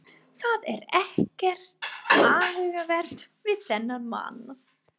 Það er ekkert athugavert við þennan mann.